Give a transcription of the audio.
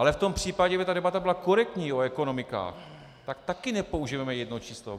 Ale v tom případě kdyby ta debata byla korektní o ekonomikách, tak taky nepoužijeme jedno číslo.